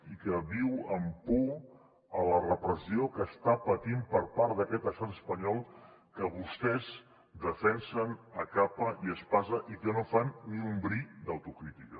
i que viu amb por a la repressió que està patint per part d’aquest estat espanyol que vostès defensen a capa i espasa i que no fan ni un bri d’autocrítica